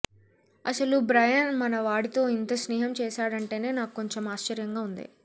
అసలు బ్రయన్ మన వాడితో ఇంత స్నేహం చేశాడంటేనే నాక్కొంచెం ఆశ్చర్యంగా వుంది